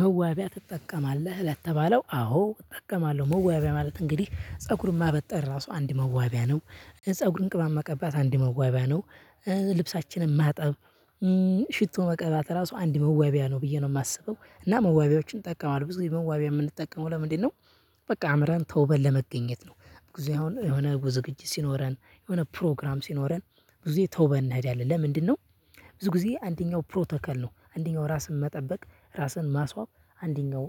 መዋቢያ ትጠቀማለህ ለተባለው አዎ እጠቀማለሁ መዋቢያ ማለት እንግዲህ ፀጉር ማበጠር ራሱ አንድ መዋቢያ ነው ፀጉርን ቅባት መቀባት አንድ መዋቢያ ነው። ልብሳችንን ማጠብ። ሽቶ መቀበት ራሱ አንድ መዋቢያ ነው ብዬ ነው የማስበው እና መዋቢያዎችን እጠቀማለሁ ብዙ ጊዜ መዋቢያ የምንጠቀመው ለምንድን ነው? በቃ አምረን ተውበል ለመገኘት ነው። ብዙ አሁን የሆነ ዝግጅት ሲኖረን የሆነ ፕሮግራም ሲኖረን ብዙ ጊዜ ተውበን እንሔዳለን ለምንድነው? ብዙ ጊዜ አንደኛው ፕሮቶኮል ነው አንደኛው ራስን መጠበቅ ራስን ማስዋብ አንደኛው